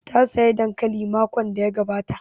Ta saya dankali makon da ya gabata